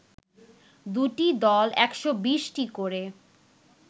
দুটি দল ১২০ টি করে